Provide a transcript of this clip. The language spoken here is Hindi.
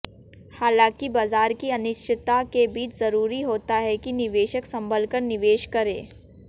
हालांकि बाजार की अनिश्चिता के बीच जरूरी होता है कि निवेशक संभल कर निवेश करें